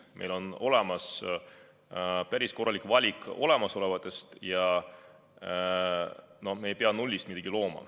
Meil on olemas päris korralik valik olemasolevaid registreid ja me ei pea nullist midagi looma.